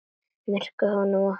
Myrkrið tók honum opnum örmum.